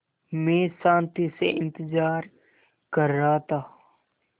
मैं शान्ति से इंतज़ार कर रहा था